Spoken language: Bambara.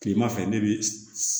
Kilema fɛ ne be